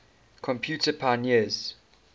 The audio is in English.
computer pioneers